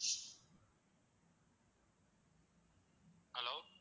hello